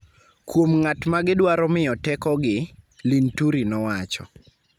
kuom ng�at ma gidwaro miyo tekogi,� Linturi nowacho.